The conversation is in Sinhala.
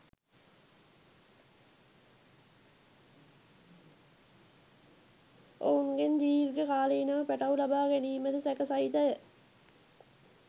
ඔවුන්ගෙන් දිර්ඝ කාලීනව පැටව් ලබා ගැනීමද සැක සහිතය